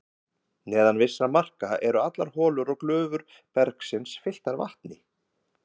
Neðan vissra marka eru allar holur og glufur bergsins fylltar vatni.